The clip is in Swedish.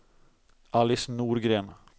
Alice Norgren